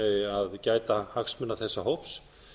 að gæta hagsmuna þessa hóps